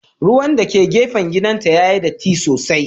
Ruwan dake gefen gidanta yayi datti sosai.